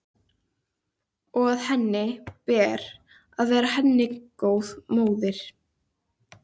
Og að henni ber að vera henni góð móðir.